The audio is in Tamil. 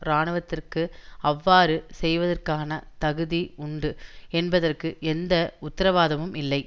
இராணுவத்திற்கு அவ்வாறு செய்வதற்கான தகுதி உண்டு என்பதற்கு எந்த உத்திரவாதமும் இல்லை